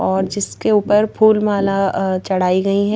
और जिसके ऊपर फूल माला जाई गई --